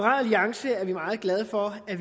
alliance er vi meget glade for at